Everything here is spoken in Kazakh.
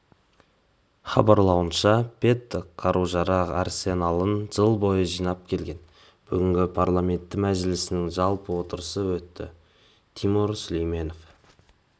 хабарлауынша пэддок қару-жарақ арсеналын жыл бойы жинап келген бүгін парламенті мәжілісінің жалпы отырысы өтті тимур сүлейменов